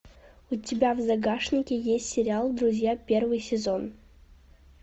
у тебя в загашнике есть сериал друзья первый сезон